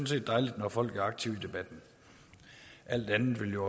set dejligt når folk er aktive i debatten alt andet ville jo